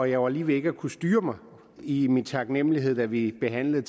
jeg var lige ved ikke at kunne styre mig i min taknemlighed da vi behandlede